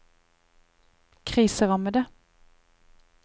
kriserammede